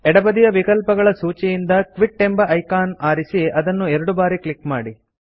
ಎಡಬದಿಯ ವಿಕಲ್ಪಗಳ ಸೂಚಿಯಿಂದ ಕ್ವಿಟ್ ಎಂಬ ಐಕಾನ್ ಆರಿಸಿಅದನ್ನು ಎರಡು ಬಾರಿ ಕ್ಲಿಕ್ ಮಾಡಿ